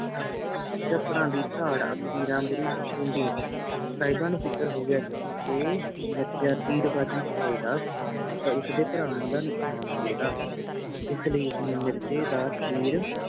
ਸਾਹਿਬਾਂ ਨੂੰ ਫਿਕਰ ਹੋ ਗਿਆ ਸੀ ਜੇ ਮਿਰਜ਼ਾ ਤੀਰਬਾਜੀ ਕਰੇਗਾ ਤਾ ਉਸ ਦੇ ਭਰਾਵਾਂ ਦਾ ਨੁਕਸਾਨ ਹੋਵੇਗਾ ਇਸ ਲਈ ਉਸਨੇ ਮਿਰਜੇ ਦਾ ਤੀਰ